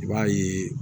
I b'a ye